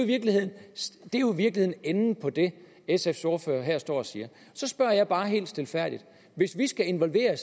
virkeligheden enden på det sfs ordfører her står og siger så spørger jeg bare helt stilfærdigt hvis vi skal involvere